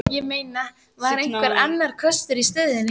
Ég meina, var einhver annar kostur í stöðunni?